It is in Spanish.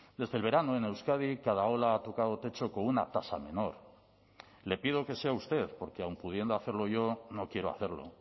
desde el verano en euskadi cada ola ha tocado techo con una tasa menor le pido que sea usted porque aun pudiendo hacerlo yo no quiero hacerlo